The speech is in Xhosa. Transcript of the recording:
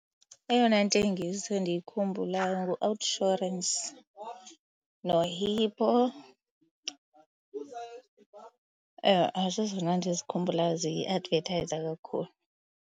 Eyona ntengiso endiyikhumbulayo ngu-OUTsurance noHippo. Ewe, zezona ndizikhumbulayo ziadvethayiza kakhulu.